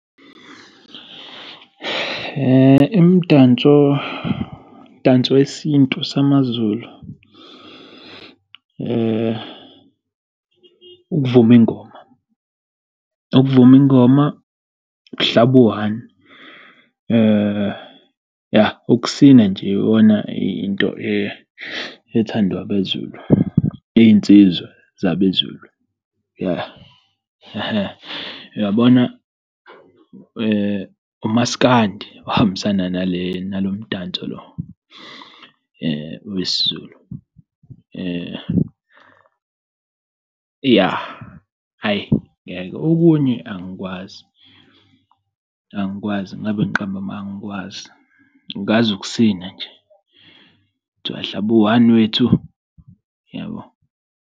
Imidanso danso wesintu samaZulu ukuvuma ingoma ukuvuma ingoma ukuhlaba u-one yah ukusina nje iyona into ethandwa abeZulu, iy'nsizwa zabeZulu yah. Hhe uyabona umasikandi ohambisana nale nalo mdanso lo owesiZulu yah hhayi ngeke okunye angikwazi. Angikwazi ngingabe ngiqambe amanga angikwazi ngazi ukusina nje thiwa hlaba u-one wethu yabo.